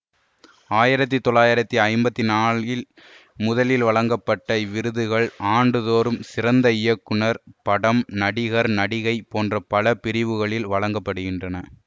ஆயிரத்தி தொள்ளாயிரத்தி ஐம்பத்தி நான்கில் முதலில் வழங்கப்பட்ட இவ்விருதுகள் ஆண்டுதொறும் சிறந்த இயக்குனர் படம் நடிகர் நடிகை போன்ற பல பிரிவுகளில் வழங்க படுகின்றன